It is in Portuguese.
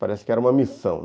Parece que era uma missão.